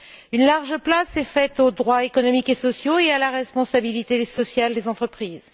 Une large place est faite aux droits économiques et sociaux et à la responsabilité sociale des entreprises.